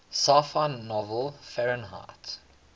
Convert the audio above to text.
sci fi novel fahrenheit